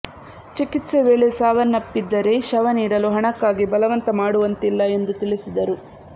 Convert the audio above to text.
ಚಿಕಿತ್ಸೆ ವೇಳೆ ಸಾವನ್ನಪ್ಪಿದ್ದರೆ ಶವ ನೀಡಲು ಹಣಕ್ಕಾಗಿ ಬಲವಂತ ಮಾಡುವಂತಿಲ್ಲ ಎಂದು ತಿಳಿಸಿದರು